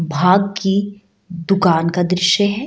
भाग की दुकान का दृश्य है।